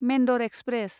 Mendar express